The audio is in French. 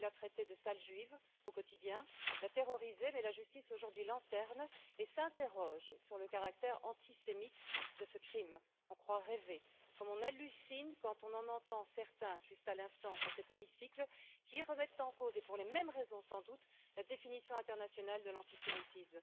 Il la traitait de sale juive au quotidien, la terrorisait mais la justice, aujourd'hui, lanterne et s'interroge sur le caractère antisémite de ce crime. On croit rêver, comme on hallucine, quand on entend certains, juste à l'instant dans cet hémicycle, qui remettent en cause et pour les mêmes raisons, sans doute, la définition internationale de l'antisémitisme.